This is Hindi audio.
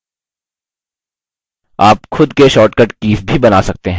आप खुद के शॉर्ट कट कीज़ भी बना सकते हैं